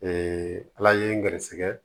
ala ye n gɛrɛsɛgɛ